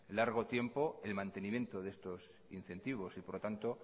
largo tiempo el mantenimiento de estos incentivos y por lo tanto